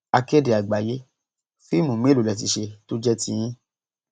akéde àgbáyé fíìmù mélòó lè ti ṣe tó jẹ tiyín